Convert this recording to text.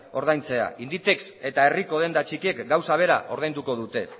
ordaintzea inditex eta herriko denda txikiek gauza bera ordainduko dute